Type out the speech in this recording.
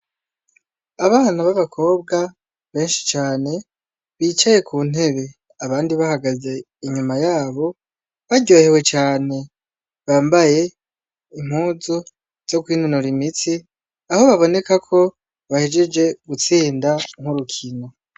Abana babakobwa beshi cane bicaye kuntebe abandi bahagaze inyuma yabo baryohewe cane bambaye impuzu zokwinonora imitsi aho baboneka ko bahejeje gutsinda urukino.